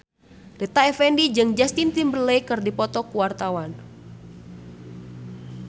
Rita Effendy jeung Justin Timberlake keur dipoto ku wartawan